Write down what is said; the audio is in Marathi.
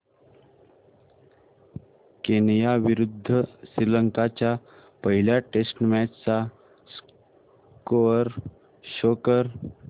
केनया विरुद्ध श्रीलंका च्या पहिल्या टेस्ट मॅच चा स्कोअर शो कर